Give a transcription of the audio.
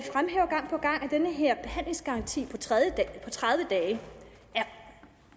den her behandlingsgaranti på tredive dage er